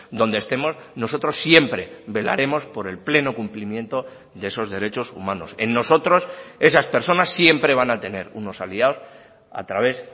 donde estemos nosotros siempre velaremos por el pleno cumplimiento de esos derechos humanos en nosotros esas personas siempre van a tener unos aliados a través